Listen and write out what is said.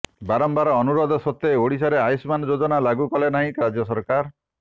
ବାରମ୍ବାର ଅନୁରୋଧ ସତ୍ୱେ ଓଡିଶାରେ ଆୟୁଷ୍ମାନ ଯୋଜନା ଲାଗୁ କଲେ ନାହିଁ ରାଜ୍ୟସରକାର